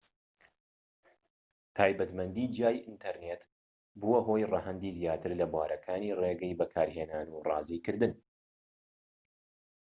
تایبەتمەندی جیای ئینتەرنێت بووە هۆی ڕەهەندی زیاتر لە بوارەکانی ڕێگەی بەکارهێنان و ڕازیکردن